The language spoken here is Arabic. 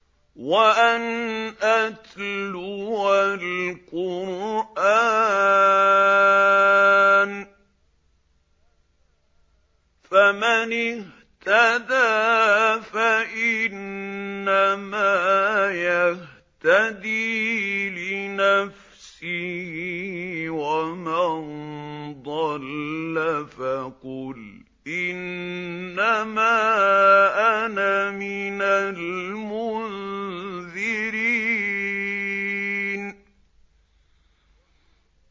وَأَنْ أَتْلُوَ الْقُرْآنَ ۖ فَمَنِ اهْتَدَىٰ فَإِنَّمَا يَهْتَدِي لِنَفْسِهِ ۖ وَمَن ضَلَّ فَقُلْ إِنَّمَا أَنَا مِنَ الْمُنذِرِينَ